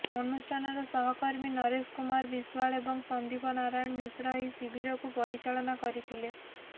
ଅନୁଷ୍ଠାନର ସହକର୍ମୀ ନରେଶ କୁମାର ବିଶ୍ୱାଳ ଏବଂ ସନ୍ଦୀପ ନାରାୟଣ ମିଶ୍ର ଏହି ଶିବିରକୁ ପରିଚାଳନା କରିଥିଲେ